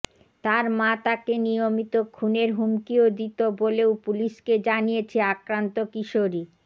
তার মা তাকে নিয়মিত খুনের হুমকিও দিত বলেও পুলিশকে জানিয়েছে আক্রান্ত কিশোরী